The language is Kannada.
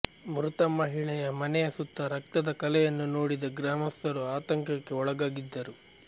ಮೃತ ಮಹಿಳೆಯ ಮನೆಯ ಸುತ್ತ ರಕ್ತದ ಕಲೆಯನ್ನು ನೋಡಿದ ಗ್ರಾಮಸ್ಥರು ಆತಂಕಕ್ಕೆ ಒಳಗಾಗಿದ್ದರು